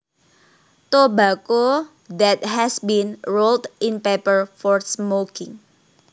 Tobacco that has been rolled in paper for smoking